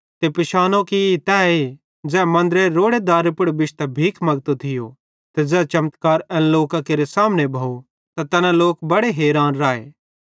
ते पिशानो ई त तैए ज़ै मन्दरेरे रोड़े दारे पुड़ बिश्तां भीख मगतो थियो ते ज़ै चमत्कार एन लोकां केरे सामने भोव त तैना लोक बड़े हैरान राए